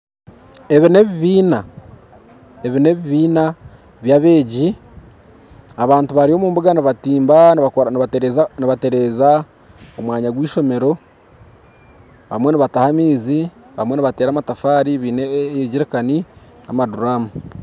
Ebi n'ebibiina bya abeegi abantu bari omubunga nibatumba nibatereeza omwanya gw'eishomero abamwe nibataaha amaizi abamwe nibateera amatafaari baine egerikani n'amaduramu